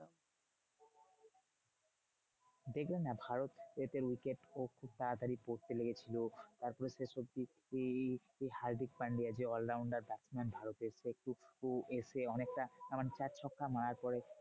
দেখলে না ভারত এদের wicket খুব তাড়াতাড়ি পড়তে লেগেছিলো। তারপরে শেষঅব্ধি ওই হার্দিক পান্ডিয়া যে all rounder batsman ভারতের সে এসে অনেকটা তারমানে চার ছক্কা মারার পরে